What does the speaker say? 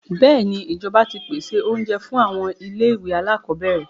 Bẹ́èni, ìjọba ti pèsè oúnjẹ fún àwọn ilé-ìwé alákọọ́bẹ̀rẹ̀.